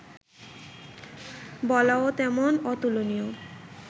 বলাও তেমন অতুলনীয়